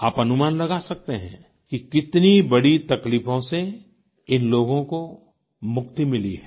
आप अनुमान लगा सकते हैं कि कितनी बड़ी तकलीफों से इन लोगों को मुक्ति मिली है